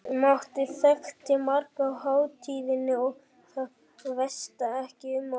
Matti þekkti marga á hátíðinni og það væsti ekki um okkur.